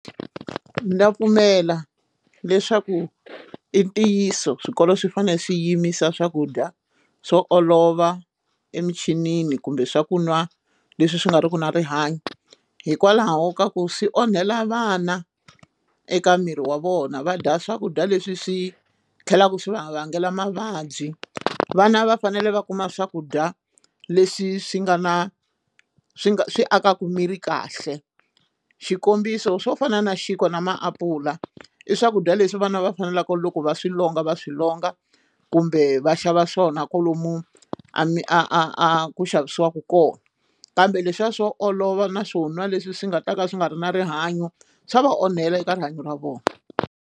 Ndza pfumela leswaku i ntiyiso swikolo swi fanele swi yiMIsa swakudya swo olova emichinini kumbe swa ku nwa leswi swi nga ri ki na rihanyo hikwalaho ka ku swi onhela vana eka miri wa vona va dya swakudya leswi swi tlhelaka swi va vangela mavabyi vana va fanele va kuma swakudya leswi swi nga na swi nga swi akaka miri kahle xikombiso swo fana na xinkwa na maapula i swakudya leswi vana va faneleke loko va swi longa va swi longa kumbe va xava swona kwalomu a mi a a a ku xavisiwaka kona kambe leswiya swo olova na swo nwa leswi swi nga ta ka swi nga ri na rihanyo swa va onhela eka rihanyo ra vona.